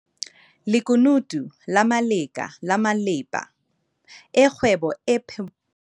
Lekunutu la Ngaleka la malepa a kgwebo e phomellang